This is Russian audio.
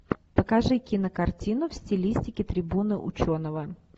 покажи кинокартину в стилистике трибуна ученого